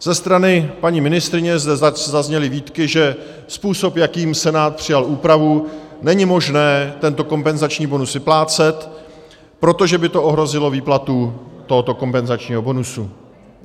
Ze strany paní ministryně zde zazněly výtky, že způsob, jakým Senát přijal úpravu, není možné tento kompenzační bonus vyplácet, protože by to ohrozilo výplatu tohoto kompenzačního bonusu.